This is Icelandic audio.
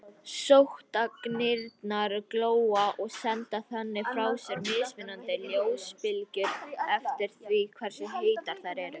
Sótagnirnar glóa og senda þannig frá sér mismunandi ljósbylgjur eftir því hversu heitar þær eru.